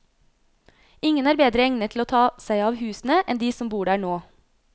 Ingen er bedre egnet til å ta seg av husene enn de som bor der nå.